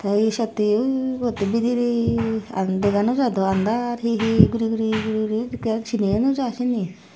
ta he seyot he oi bot bederay dega no jai andar guri guri senay eyo no jai seyani.